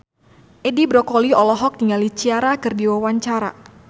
Edi Brokoli olohok ningali Ciara keur diwawancara